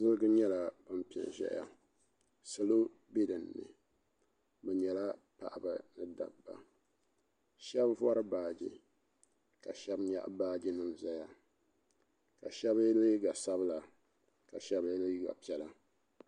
nyɛla din piɛ n ʒɛya salo bɛ dinni bi nyɛla paɣaba ni dabba shab vori baaji ka shab nyaɣa baaji nim ʒiya ka shab yɛ liiga sabila ka shab yɛ liiga piɛla